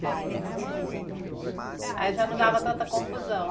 Aí já não dava tanta confusão.